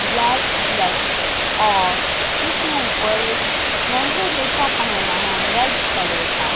Black slacks और इसने ऊपर एक लेहंगा जैसा पेहना है रेड कलर का।